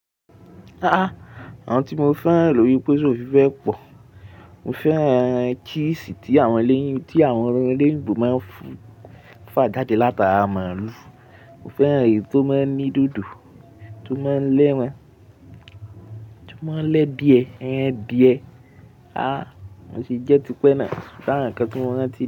A a, àwọn tí mo fẹ́ran lórí pésè òfì bẹ́ pọ̀. Mo fẹ́ cheese tí àwọn ilé, tí àwọn oloyinbo máa ń fa jáde láti ara màlúù. Mo fẹ́ran èyí tó máa ń ní dòdò, tó máa ń lẹ́ran, tó máa ń lẹ́biẹ, ẹyẹ biẹ. A a, mo tì jẹ́ ti pẹ́ náà, ṣùgbọ́n àwọn nnkan tí mo rántí.